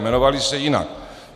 Jmenovaly se jinak.